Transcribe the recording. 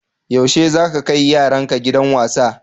Yaushe za ka kai yaranka gidan wasa?